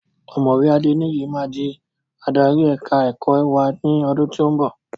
Ọ̀mọ̀wé Adeniyi máa di adarí èka-ẹ̀kọ́ wá ní ọdún tí ó ń bọ̀.